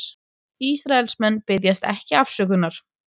Ísraelsmenn biðjast ekki afsökunar